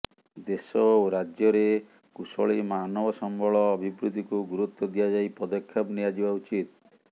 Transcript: ଦେଶ ଓ ରାଜ୍ୟରେ କୁଶଳୀ ମାନବସମ୍ବଳ ଅଭିବୃଦ୍ଧିକୁ ଗୁରୁତ୍ୱ ଦିଆଯାଇ ପଦକ୍ଷେପ ନିଆଯିବା ଉଚିତ୍